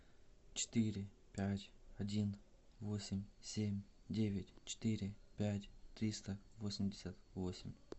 четыре пять один восемь семь девять четыре пять триста восемьдесят восемь